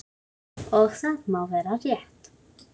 Og það má vera rétt.